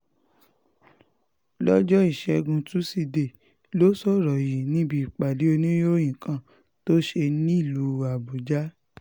lọ́jọ́ ìṣẹ́gun tusidee ló sọ̀rọ̀ yìí níbi ìpàdé oníròyìn kan tó ṣe nílùú àbújá